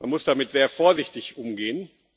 Man muss damit sehr vorsichtig umgehen.